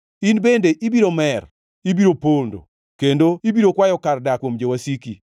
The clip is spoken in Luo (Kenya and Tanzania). In bende ibiro mer, ibiro pondo, kendo ibiro kwayo kar dak kuom jowasiki.